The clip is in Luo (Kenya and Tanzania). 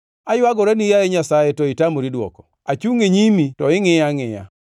“Aywagorani, yaye Nyasaye, to itamori dwoko; achungʼ e nyimi to ingʼiya angʼiya.